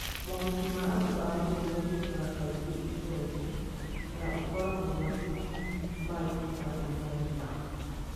Mohiki ma andũ a Merũ kaingĩ mekĩkaga itũũra-inĩ, na ũkoragwo matukũ maiganona.